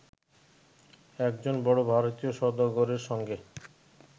একজন বড় ভারতীয় সওদাগরের সঙ্গে